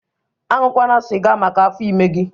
Aṅụkwana siga maka afọ ime gị!